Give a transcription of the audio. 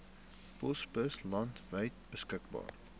posbusse landwyd beskikbaar